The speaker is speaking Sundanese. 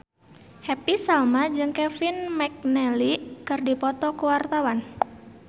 Happy Salma jeung Kevin McNally keur dipoto ku wartawan